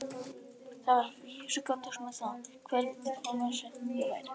Það var að vísu gantast með það, hve lítill og vesæll ég væri.